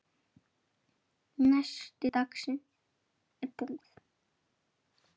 Nesti dagsins er búið.